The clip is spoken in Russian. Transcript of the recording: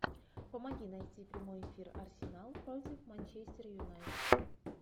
помоги найти прямой эфир арсенал против манчестер юнайтед